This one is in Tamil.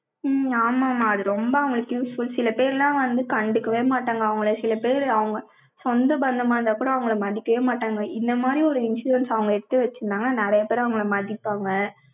உம் ஆமாம்மா, அது ரொம்ப அவங்களுக்கு useful சில பேரெல்லாம் வந்து, கண்டுக்கவே மாட்டாங்க, அவங்களை. சில பேரு, அவங்க சொந்த பந்தமா இருந்தா கூட, அவங்களை மதிக்கவே மாட்டாங்க. இந்த மாரி, ஒரு insurance அவங்க எடுத்து வச்சிருந்தாங்கன்னா, நிறைய பேர், அவங்களை மாட்டிப்பாங்க.